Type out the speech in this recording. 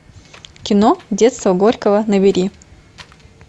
кино детство горького набери